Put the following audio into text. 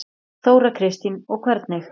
Þóra Kristín: Og hvernig?